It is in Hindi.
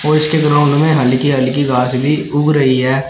और इसके ग्राउंड में हल्की हल्की घास भी उग रही है।